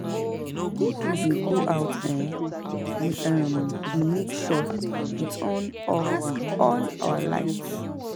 If we dey go out um we um dey make sure we turn off all our lights